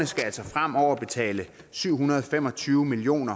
skal altså fremover betale syv hundrede og fem og tyve million